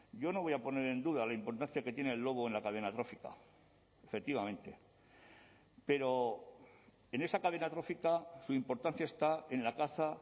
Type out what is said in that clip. yo no voy a poner en duda la importancia que tiene el lobo en la cadena trófica efectivamente pero en esa cadena trófica su importancia está en la caza